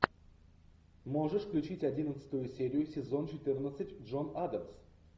можешь включить одиннадцатую серию сезон четырнадцать джон адамс